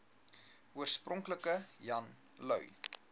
oorspronklik jan lui